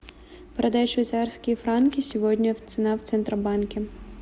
продай швейцарские франки сегодня цена в центробанке